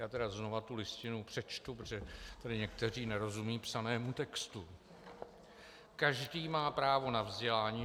Já tedy znovu tu Listinu přečtu, protože tady někteří nerozumí psanému textu: Každý má právo na vzdělání.